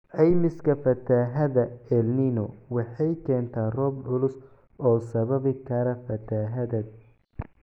Caymiska fatahaadda El Niño waxay keentaa roob culus oo sababi kara fatahaad.